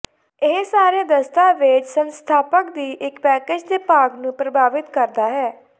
ਇਹ ਸਾਰੇ ਦਸਤਾਵੇਜ਼ ਸੰਸਥਾਪਕ ਦੀ ਇੱਕ ਪੈਕੇਜ ਦੇ ਭਾਗ ਨੂੰ ਪ੍ਰਭਾਵਿਤ ਕਰਦਾ ਹੈ